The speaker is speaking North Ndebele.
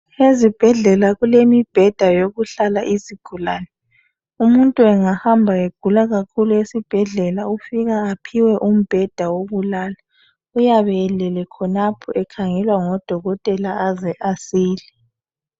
Ezibhedlela kulemibheda yokuhlala izigulane. Umuntu engahamba egula kakhulu esibhedlela ufika ephiwe umbeda wokulala, uyabe elele khonalapho ekangelwa ngodokotela aze asile.